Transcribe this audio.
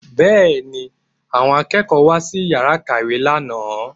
Bẹ́ẹ̀ ni, àwọn akẹ́kọ̀ọ́ wá sí yàrá ìkàwé lánàá